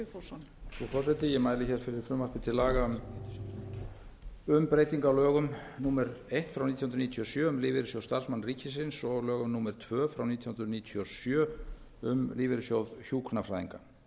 frú forseti ég mæli hér fyrir frumvarpi til laga um breytingu á lögum númer eitt nítján hundruð níutíu og sjö um lífeyrissjóð starfsmanna ríkisins og lögum númer tvö nítján hundruð níutíu og sjö um lífeyrissjóð hjúkrunarfræðinga